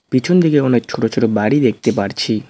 পিছন দিকে অনেক ছোট ছোট বাড়ি দেখতে পারছি।